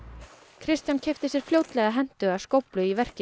Kristján keypti sér fljótlega hentuga skóflu í verkið